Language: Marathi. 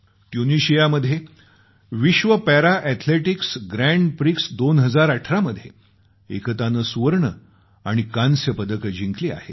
ट्युनिशियामध्ये विश्व पॅरा अॅथलेटिक्स ग्रॅंड प्रिक्स 2018 मध्ये एकतानं सुवर्ण आणि कांस्य पदकं जिंकली आहेत